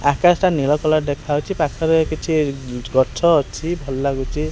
ଆକାଶଟା ନୀଳ କଲର୍ ଦେଖା ଯାଉଛି ପାଖରେ କିଛି ଇ ଗଛ ଅଛି ଭଲ ଲାଗୁଛି।